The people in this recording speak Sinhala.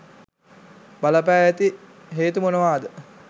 බලපා ඇති හේතු මොනවද?